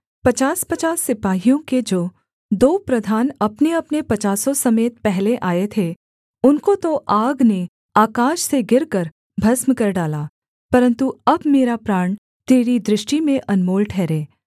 पचासपचास सिपाहियों के जो दो प्रधान अपनेअपने पचासों समेत पहले आए थे उनको तो आग ने आकाश से गिरकर भस्म कर डाला परन्तु अब मेरा प्राण तेरी दृष्टि में अनमोल ठहरे